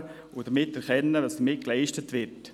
Dann könnte man erkennen, was damit geleistet wird.